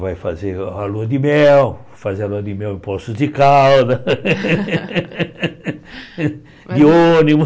Vai fazer a lua de mel, fazer a lua de mel em Poços de Caldas, de ônibus.